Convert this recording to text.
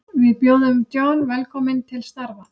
Við bjóðum John velkominn til starfa.